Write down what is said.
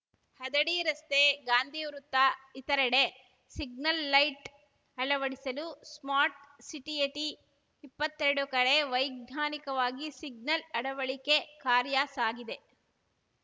ಹದಡಿ ರಸ್ತೆ ಗಾಂಧಿ ವೃತ್ತ ಇತರೆಡೆ ಸಿಗ್ನಲ್‌ ಲೈಟ್ ಅಳವಡಿಸಲು ಸ್ಮಾರ್ಟ್ ಸಿಟಿಯಡಿ ಇಪ್ಪತ್ತೆರಡು ಕಡೆ ವೈಜ್ಞಾನಿಕವಾಗಿ ಸಿಗ್ನಲ್‌ ಅಳವಡಿಕೆ ಕಾರ್ಯ ಸಾಗಿದೆ